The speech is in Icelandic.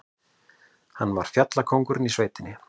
Hann var fjallkóngurinn í sveitinni.